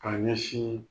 K'a ɲɛsin